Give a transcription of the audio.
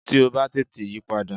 Tí ó bá tètè yípadà